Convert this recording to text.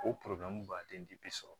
O baden de bi sɔrɔ